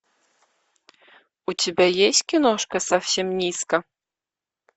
у тебя есть киношка совсем низко